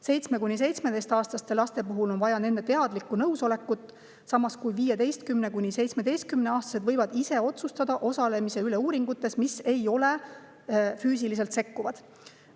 7–17-aastaste laste puhul on vaja nende teadlikku nõusolekut, samas kui 15–17-aastased võivad ise otsustada osalemise üle uuringutes, mis ei ole füüsiliselt sekkuvad.